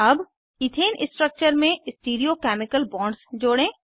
अब ethane structure में stereo chemical bonds जोड़ें